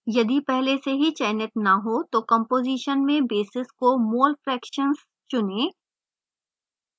यदि पहले से चनित न हो तो composition में basis को mole fractions चुनें